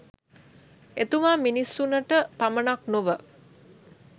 එතුමා මිනිසුනට පමණක් නොව